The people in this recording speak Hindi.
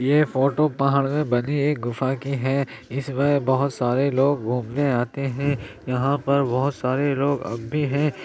ये फोटो पहाड़ पर बनी एक गुफा की है। इसमें बहुत सारे लोग घूमने आते हैं। यहां पर बहुत सारे लोग अब भी है।